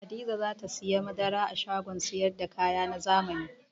Hadiza za ta sayi madara a shagon sayar da kaya na zamani.